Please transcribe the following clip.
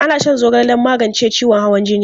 Ana shan zogale don magance ciwon hawan jini.